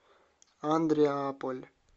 андреаполь